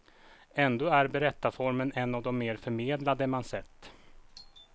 Ändå är berättarformen en av de mer förmedlade man sett.